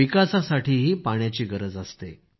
विकासासाठीही पाण्याची गरज आहे